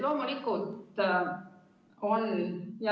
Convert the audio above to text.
Loomulikult oleks.